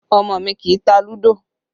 Ọmọ mi kì í tá ludo